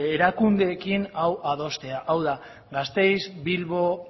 erakundeekin hau adostea hau da gasteiz bilbo